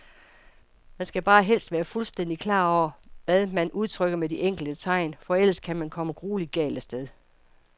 Man skal bare helst være fuldstændigt klar over, hvad man udtrykker med de enkelte tegn, for ellers kan man komme grueligt galt af sted.